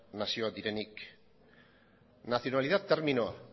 nazioa direnik nacionalidad terminoa